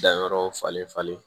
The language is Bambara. Danyɔrɔ falen falen